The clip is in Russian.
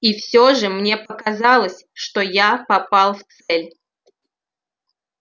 и все же мне показалось что я попал в цель